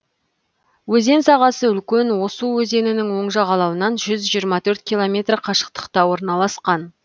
өзен сағасы үлкен оус өзенінің оң жағалауынан жүз жиырма төрт километр қашықтықта орналасқан